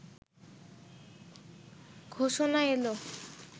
ঘোষণা এলো